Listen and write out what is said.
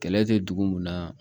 Kɛlɛ tɛ dugu mun na